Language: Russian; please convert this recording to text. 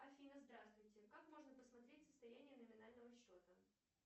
афина здравствуйте как можно посмотреть состояние номинального счета